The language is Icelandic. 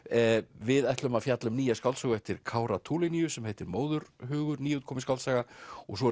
við ætlum að fjalla um nýja skáldsögu eftir Kára Tulinius sem heitir Móðurhugur nýútkomin skáldsaga og svo er